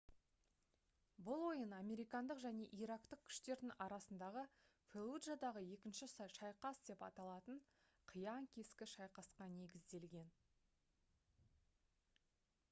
бұл ойын американдық және ирактық күштердің арасындағы «феллуджадағы екінші шайқас» деп аталатын қиян-кескі шайқасқа негізделген